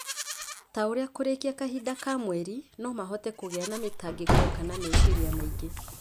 ta ũrĩa kũrĩkia kahinda ka mweri no mahote kũgĩa mĩtangĩko kana meciria maingĩ.